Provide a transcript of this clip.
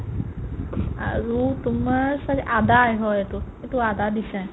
আৰু তোমাৰ ছাগে আদায়ে হয় এইটো এইটো আদা দিছে ।